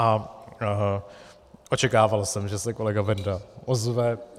A očekával jsem, že se kolega Benda ozve.